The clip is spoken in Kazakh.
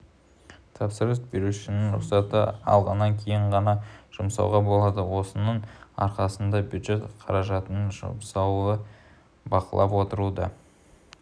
тапсырыс берушінің рұқсатын алғаннан кейін ғана жұмсауға болады осының арқасында бюджет қаражатының жұмсалуын бақылап отыруға